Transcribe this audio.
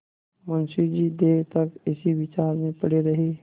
मुंशी जी देर तक इसी विचार में पड़े रहे